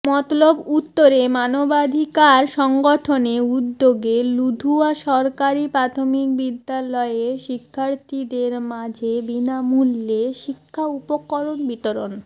মতলব উত্তরে মানবাধিকার সংগঠনে উদ্যোগে লুধুয়া সরকারি প্রাথমিক বিদ্যালয়ের শিক্ষার্থীদের মাঝে বিনামূল্যে শিক্ষা উপকরণ বিতরণ